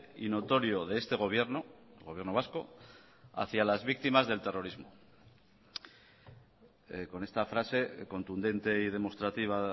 y notorio de este gobierno el gobierno vasco hacia las víctimas del terrorismo con esta frase contundente y demostrativa